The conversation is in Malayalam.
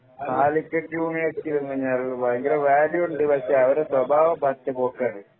കാലിക്കറ്റ് യൂണിവേഴ്സിറ്റി അങ്ങനെയാ ഭയങ്കര വാല്യൂണ്ട് പക്ഷെ അവരെ സ്വഭാവം പറ്റെ പോക്കാണ്